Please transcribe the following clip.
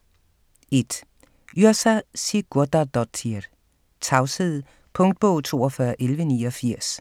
1. Yrsa Sigurðardóttir: Tavshed Punktbog 421189